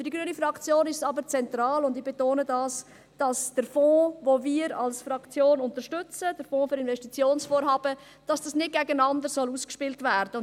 Für die grüne Fraktion ist es aber zentral, und ich betone dies, dass der Fonds, den wir als Fraktion unterstützen, der Fonds für Investitionsvorhaben, dass dies nicht gegeneinander ausgespielt werden soll.